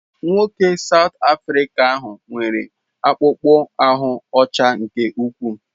Nwoke South Afrịca ahụ nwere akpụkpọ ahụ́ ọcha nke ukwuu.